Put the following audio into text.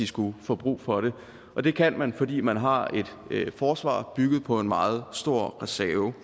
skulle få brug for det og det kan man fordi man har et forsvar bygget på en meget stor reserve